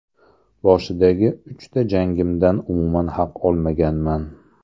Boshidagi uchta jangimdan umuman haq olmaganman.